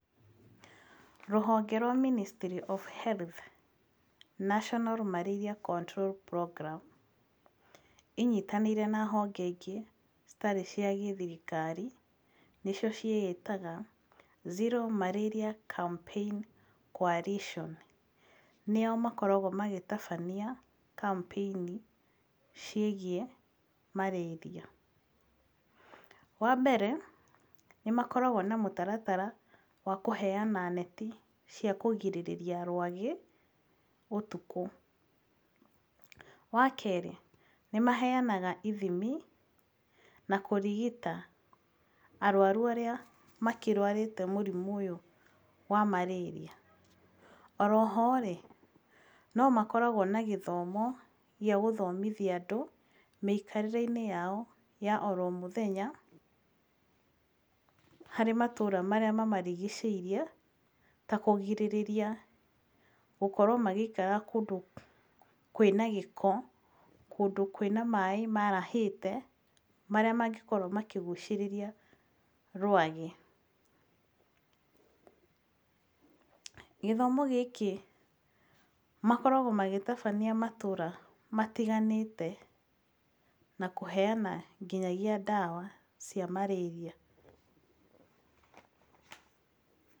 Rũhonge rwa Ministry of Health National Malaria Control Program , inyitanĩire na honge ingĩ citarĩ cia gĩthirikari, nĩcio ciĩĩtaga, Zero Malaria Campaign Coalition, nĩo makoragwo magĩtabania campaign ciĩgiĩ marĩria. Wambere nĩmakoragwo na mũtaratara wa kũheyana neti cia kũgirĩrĩria rwagĩ ũtukũ, wakerĩ, nĩmaheyanaga ithimi na kũrigita arwaru arĩa makĩrwarĩte mũrimũ ũyũ wa Marĩria. Oroho-rĩ, nomakoragwo na gĩthomo gĩa gũthomithia andũ, mĩikarĩre-inĩ yao ya oromũthenya, harĩ matũũra marĩa mamarigicĩirie, takũgĩrĩrĩria gũkorwo magĩikara kũndũ kwĩna gĩko, kũndũ kwĩna maĩ marahĩte, marĩa mangĩkorwo makĩgucĩrĩria rwagĩ. Gĩthomo gĩkĩ, makoragwo magĩtabania matũũra matiganĩte, na kũheyana nginya ndawa cia marĩria.